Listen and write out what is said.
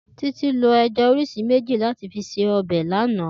Titi ló ẹjà ọọ́riṣi méji làti fi sé ọbẹ lànã